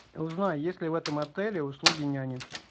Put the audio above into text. узнай есть ли в этом отеле услуги няни